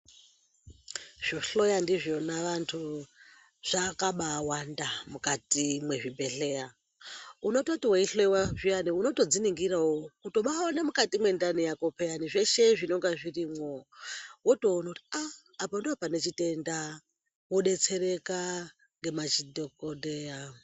Zvohloya ndizvona vantu zvakabawanda mukati mwezvibhedhleya. Unototi weihloyiwa zviyani unotodziningirawo kutobaona mukati mwendani yako pheyani, zveshe zvinonga zvirimwo. Wotoono kuti aah apa ndopane chitenda. Wodetsereka ngemadhokodheya.